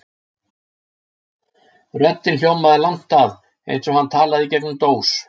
Röddin hljómaði langt að, eins og hann talaði í gegnum dós.